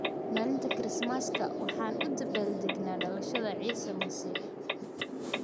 Maalinta Kirismaska, waxaan u dabaaldegnaa dhalashada Ciise Masiix.